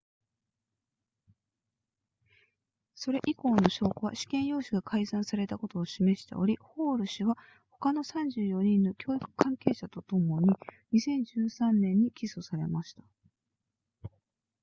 それ以降の証拠は試験用紙が改ざんされたことを示しておりホール氏は他の34人の教育関係者とともに2013年に起訴されました